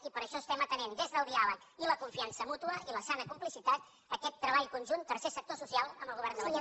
i per això estem atenent des del diàleg i la confiança mútua i la sana complicitat aquest treball conjunt del tercer sector social amb el govern de la generalitat